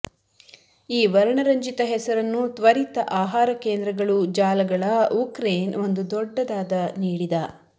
ಈ ವರ್ಣರಂಜಿತ ಹೆಸರನ್ನು ತ್ವರಿತ ಆಹಾರ ಕೇಂದ್ರಗಳು ಜಾಲಗಳ ಉಕ್ರೇನ್ ಒಂದು ದೊಡ್ಡದಾದ ನೀಡಿದ